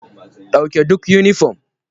Dauke duk yunifom.